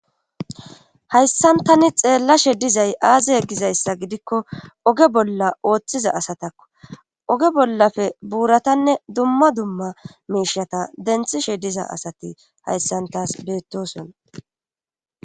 Hayssan tani xeellashe dizay aaze e gizayssa gidikko oge bolla ooththiza asatakko oge bollafe buuratanne dumma dumma miishata denthishe diza asati hayssantas beettoson.